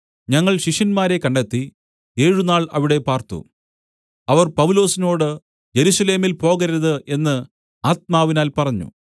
ഞങ്ങൾ ശിഷ്യന്മാരെ കണ്ടെത്തി ഏഴുനാൾ അവിടെ പാർത്തു അവർ പൗലൊസിനോടു യെരൂശലേമിൽ പോകരുത് എന്ന് ആത്മാവിനാൽ പറഞ്ഞു